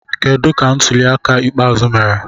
Kedu ka ntuli aka ikpeazụ mere?